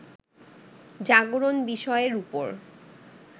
জাগরণ বিষয়ের উপর